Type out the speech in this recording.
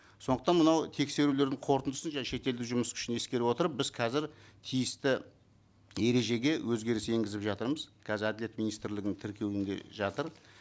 сондықтан мынау тексерулердің қорытындысын және шетелдің жұмыс күшін ескере отырып біз қазір тиісті ережеге өзгеріс енгізіп жатырмыз қазір әділет министрлігінің тіркеуінде жатыр